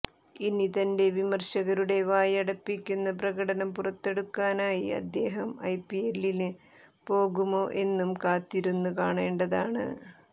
ഇനി തന്റെ വിമര്ശകരുടെ വായടപ്പിക്കുന്ന പ്രകടനം പുറത്തെടുക്കാനായി അദ്ദേഹം ഐപിഎല്ലിന് പോകുമോ എന്നും കാത്തിരുന്ന് കാണേണ്ടതാണ്